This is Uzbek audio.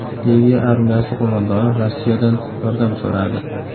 Liviya armiyasi qo‘mondoni Rossiyadan yordam so‘radi.